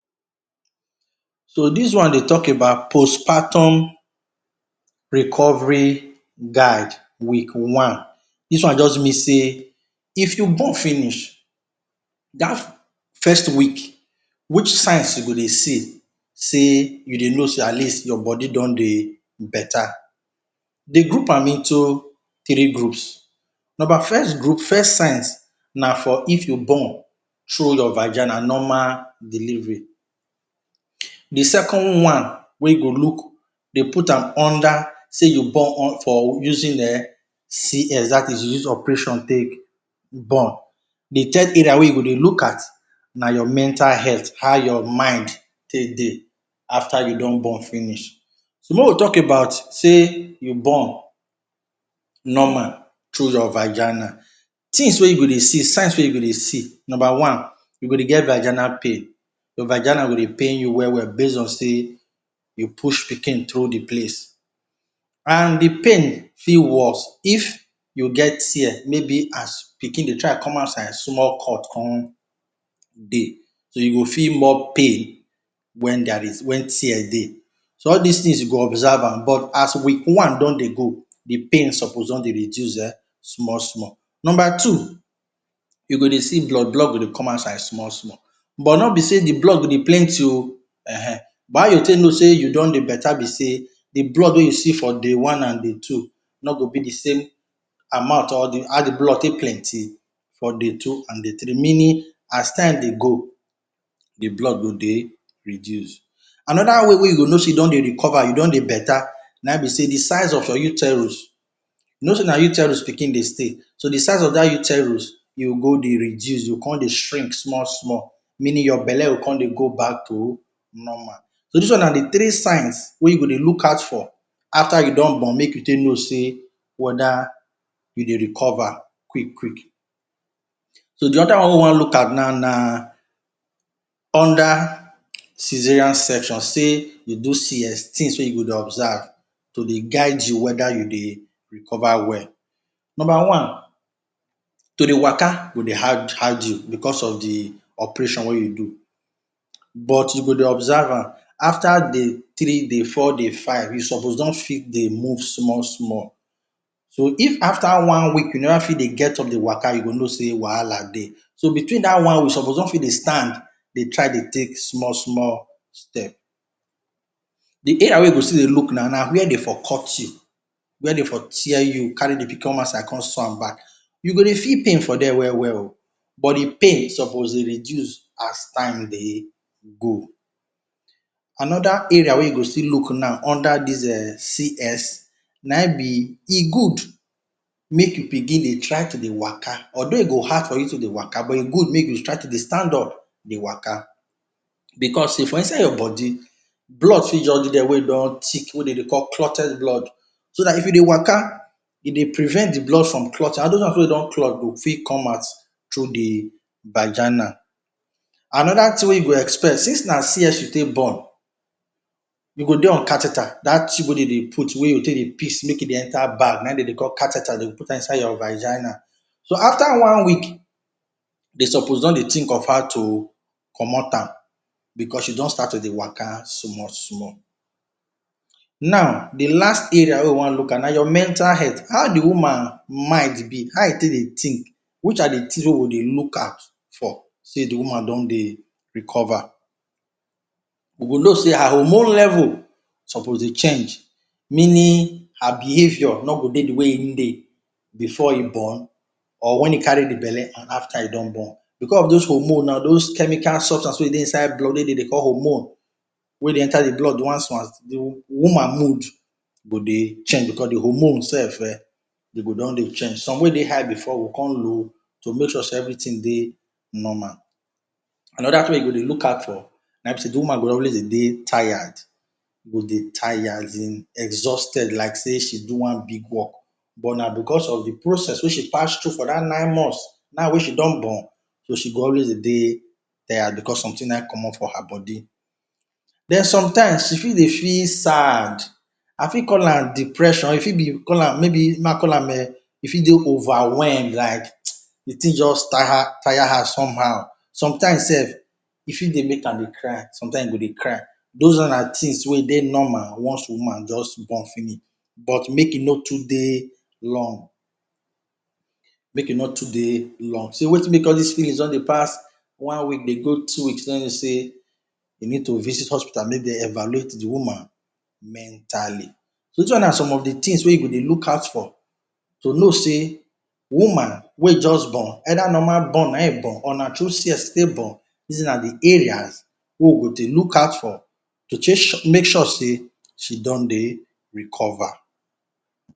So, dis one dey tok about postpartum recovery guide. Week one Dis one just mean sey, if you born finish, dat first week, which signs you go dey see sey, you dey know sey at least your body don dey beta. Dem group am into three groups. Number first group, first signs na for if you born through your vagina, normal delivery. De second one wey go look, dem put am under sey you born um for using um CS, dat is, you use operation take born. De third area wey you go dey look at na your mental health. How your mind take dey after you don born finish. So, make we tok about sey you born normal through your vagina. Tins wey you go dey see, signs wey you go dey see: Number one, you go dey get vagina pain. Your vagina go dey pain you well well base on sey you push pikin through de place. And de pain fit worse if you get tear, maybe as pikin dey try come outside, small cut con dey. You go feel more pain wen there is, wen tears dey. So, all dis tins you go observe am. But as week one don dey go, de pain suppose don dey reduce um small small. Number two, you go dey see blood. Blood go dey come outside small small. But, no be sey de blood go dey plenty oh, ehen. But how you go take know sey you don dey beta be sey de blood wey you see for day one and day two no go be de same amount or how de blood take plenty for day two and day three. Meaning, as time dey go, de blood go dey reduce. Another way wey you go know sey you don dey recover, you don dey beta, na im be sey de size of your uterus, you know sey na uterus pikin dey stay. So, de size of dat uterus e go go dey reduce, e go con dey shrink small small. Meaning, your belle go con dey go back to normal. So, dis one na de three signs wey you go dey look out for after you don born, make you take know sey weda you dey recover quick quick. So, de other one wey we wan look at now na under caesarean section, sey you do CS, tins wey you go dey observe, to dey guide you weda you dey recover well. Number one, to dey waka go dey hard hard you because of de operation wey you do, but you go dey observe am. after day three, day four, day five, you suppose don fit dey move small small. So, if after one week, you never fit dey get up dey waka, you go know sey wahala dey. So, within dat one week, you suppose don fit dey stand, dey try dey take small small step. De area wey you go still dey look now na where de for cut you, where de for tear you, carry de pikin come outside, con sew am back. You go dey feel pain for dere well well oh, but de pain suppose dey reduce as time dey go. Another area wey you go still look now under dis um CS na im be, e good make you begin dey try to dey waka, although e go hard for you to dey waka, but e good make you dey try to dey stand up, dey waka. Because sey, for inside your body, blood fit just dey there wey don thick wey de dey call clotted blood. So dat, if you dey waka, e dey prevent de blood from clotting. All those ones wey don clot go fit come out through de vagina. Another tin you go expect since na CS you take born, you go dey on catheter, dat tube wey dey de put wey you go take dey piss, make e dey enta bag, na im dem dey call catheter. Dem go put am inside your vagina. So, after one week, de suppose don dey tink of how to comot am, because you don start to dey waka small small. Now, de last area wey we wan look at na your mental health. How de woman mind be. How e take dey tink? Which are de tin wey we dey look out for, sey de woman don dey recover. You go know sey her hormone level suppose dey change. Meaning, her behavior no go dey de way im dey before e born, or wen e carry de belle and after e don born. Because of those hormone nau, those chemical substance wey dey inside blood, wey de dey call “hormone,” wey dey enta de blood once once, de woman mood go dey change. Because de hormone sef um, e go don dey change. Some wey dey high before go come low, to make sure sey everytin dey normal. Another tin wey you go dey look out for na im be sey de woman go always dey de tired. E go dey tire asin exhausted like sey she do one big work. But na because of de process wey she pass through for dat nine months, now wey she don born, so she go always dey de tired because sometin na im comot for her body. Den, sometimes, e fit dey feel sad. I fit call am depression, e fit be call am maybe make I call am[um]e fit dey overwhelmed, like de tin just tire tire her somehow. Sometimes sef, e fit dey make am dey cry, sometimes e go dey cry. Those one na de tins wey e dey normal once de woman just born finish, but, make e no too dey long. Make e no too dey long. So, wetin make all dis feelings don dey pass one week dey go two weeks don mean sey you need to visit hospital make de evaluate de woman mentally. So, dis one na some of de tins wey you go dey look out for, to know sey woman wey just born, either normal born na im e born or na through CS e take born, dis na de areas wey we go dey look out for, to take make sure sey she don dey recover.